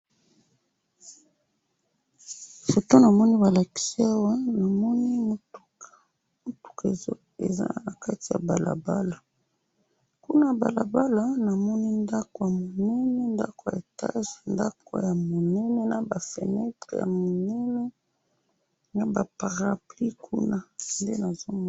Foto namoni balakisi awa, namoni mutuka, mutuka eza nakati ya balabala, kuna ya balabala namoni ndako yamunene, ndako ya etage, ndako ya munene naba feunetre yaminene, naba parapluis kuna, nde nazomona.